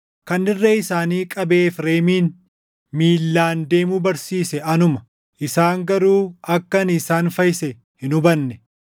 Kan irree isaanii qabee Efreemin miillaan deemuu barsiise anuma; isaan garuu akka ani isaan fayyise hin hubanne.